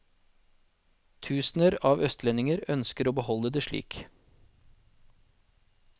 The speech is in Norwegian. Tusener av østlendinger ønsker å beholde det slik.